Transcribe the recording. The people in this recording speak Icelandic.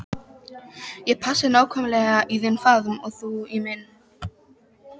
Ég passaði nákvæmlega í þinn faðm og þú í minn.